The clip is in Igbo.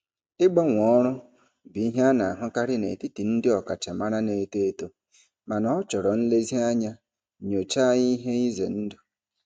Ịgbanwe ọrụ bụ ihe a na-ahụkarị n'etiti ndị ọkachamara na-eto eto mana ọ chọrọ nlezianya nyochaa ihe ize ndụ.